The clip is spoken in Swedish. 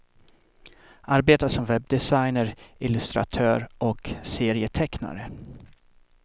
Arbetar som webdesigner, illustratör och serietecknare.